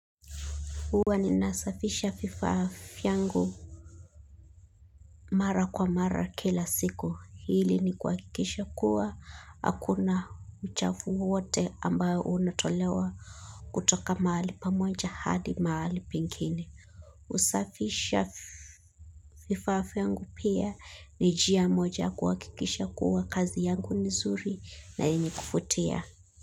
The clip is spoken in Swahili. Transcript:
Huwa ninasafisha vifaa yangu mara kwa mara kila siku. Hili ni kuhakikisha kuwa, hakuna uchafu wowote ambao unatolewa kutoka mahali pamoja hadi mahali pengine huwa ninasafisha vifaa vyangu mara kwa mara kila siku.